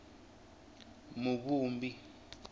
muvumbi